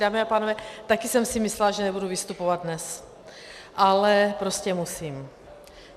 Dámy a pánové, také jsem si myslela, že nebudu vystupovat dnes, ale prostě musím.